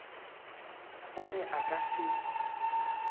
o re a ka se